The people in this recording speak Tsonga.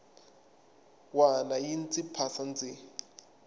wana yi ndzi phasa ndzi